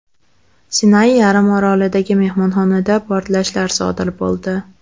Sinay yarim orolidagi mehmonxonada portlashlar sodir bo‘ldi.